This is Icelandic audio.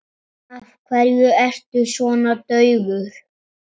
Af hverju ertu svona daufur?